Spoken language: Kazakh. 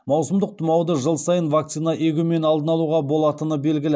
маусымдық тұмауды жыл сайын вакцина егумен алдын алуға болатыны белгілі